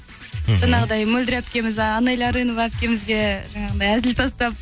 мхм жаңағыдай мөлдір әпкеміз а анэля арынова әпкемізге жаңағыдай әзіл тастап